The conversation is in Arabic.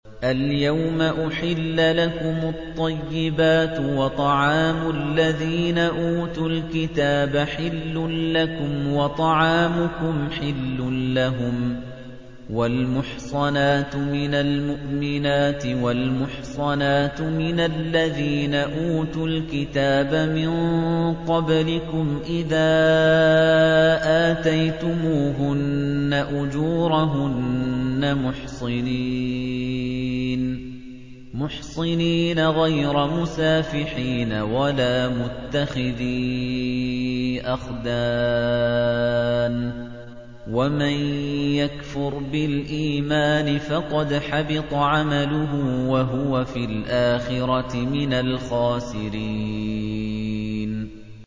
الْيَوْمَ أُحِلَّ لَكُمُ الطَّيِّبَاتُ ۖ وَطَعَامُ الَّذِينَ أُوتُوا الْكِتَابَ حِلٌّ لَّكُمْ وَطَعَامُكُمْ حِلٌّ لَّهُمْ ۖ وَالْمُحْصَنَاتُ مِنَ الْمُؤْمِنَاتِ وَالْمُحْصَنَاتُ مِنَ الَّذِينَ أُوتُوا الْكِتَابَ مِن قَبْلِكُمْ إِذَا آتَيْتُمُوهُنَّ أُجُورَهُنَّ مُحْصِنِينَ غَيْرَ مُسَافِحِينَ وَلَا مُتَّخِذِي أَخْدَانٍ ۗ وَمَن يَكْفُرْ بِالْإِيمَانِ فَقَدْ حَبِطَ عَمَلُهُ وَهُوَ فِي الْآخِرَةِ مِنَ الْخَاسِرِينَ